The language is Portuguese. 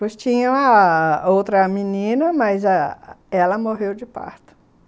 Pois tinha ah... outra menina, mas ela morreu de parto.